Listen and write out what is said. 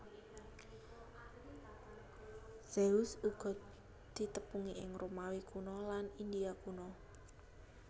Zeus uga ditepungi ing Romawi Kuna lan India kuna